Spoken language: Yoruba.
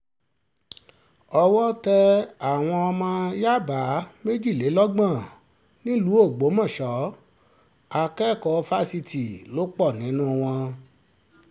owó tẹ àwọn ọmọ yàbá méjìlélọ́gbọ̀n nílùú ọgbọ́mọṣẹ́ akẹ́kọ̀ọ́ fásitì lò pọ̀ nínú wọn